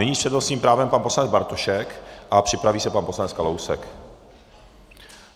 Nyní s přednostním právem pan poslanec Bartošek a připraví se pan poslanec Kalousek.